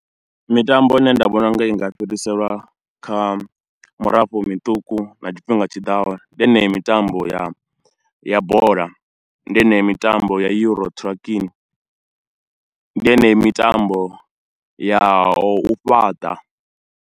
Mitambo ine nda vhona u nga i nga fhiriselwa kha murafho miṱuku na tshifhinga tshiḓaho ndi yeneyo mitambo ya ya bola, ndi yeneyo mitambo ya Euro Trucking ndi yeneyo mitambo ya u fhaṱa.